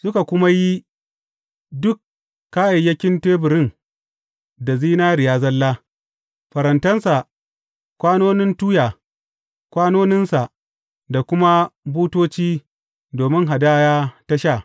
Suka kuma yi duk kayayyakin teburin da zinariya zalla, farantansa, kwanonin tuya, kwanoninsa, da kuma butoci domin hadaya ta sha.